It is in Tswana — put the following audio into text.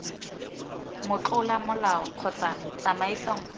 motlola molao kgotsa tsamaiso nngwe